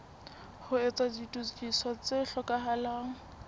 ho etsa ditokiso tse hlokahalang